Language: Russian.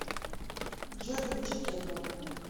джой включи кетма